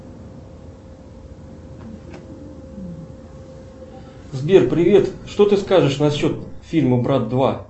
сбер привет что ты скажешь насчет фильма брат два